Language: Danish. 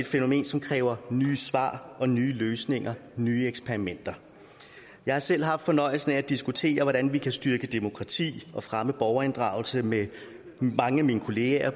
fænomen som kræver nye svar og nye løsninger nye eksperimenter jeg har selv haft fornøjelsen af at diskutere hvordan vi kan styrke demokratiet og fremme borgerinddragelsen med mange af mine kollegaer